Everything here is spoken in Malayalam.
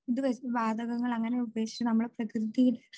ഇത് വാതകങ്ങൾ അങ്ങനെ ഉപേക്ഷിച്ച് നമ്മൾ പ്രകൃതിയിൽ